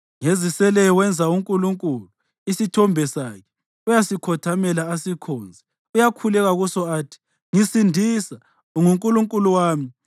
Ngeziseleyo wenza unkulunkulu, isithombe sakhe; uyasikhothamela, asikhonze. Uyakhuleka kuso athi, “Ngisindisa, ungunkulunkulu wami.”